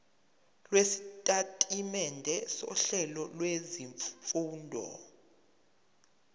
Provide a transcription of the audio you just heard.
lwesitatimende sohlelo lwezifundo